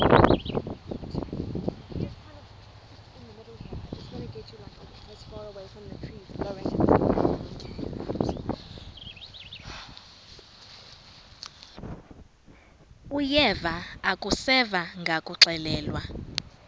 uyeva akuseva ngakuxelelwa